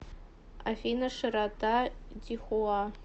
афина широта дихуа